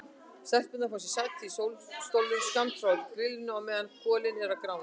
Stelpurnar fá sér sæti í sólstólum skammt frá grillinu á meðan kolin eru að grána.